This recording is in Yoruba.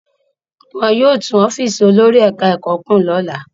Wọn yóò tún ọ́fíísì olórí ẹ̀ka-ẹ̀kọ́ kùn lọ́la.